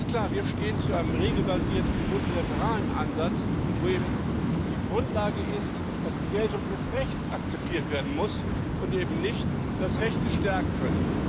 Es ist klar Wir stehen zu einem regelbasierten, multilateralen Ansatz, wo eben die Grundlage ist, dass die Geltung des Rechts akzeptiert werden muss und eben nicht das Recht des Stärkeren.